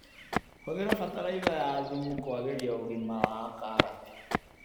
Hũthĩra bataraitha ya thumu kwagĩria ũgima wa karati.